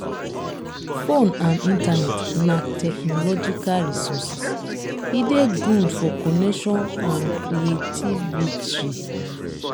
phone and internet na techmological resources e de good for connection and creativitry